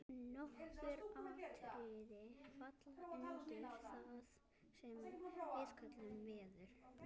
nokkur atriði falla undir það sem við köllum „veður“